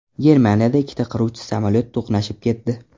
Germaniyada ikkita qiruvchi samolyot to‘qnashib ketdi.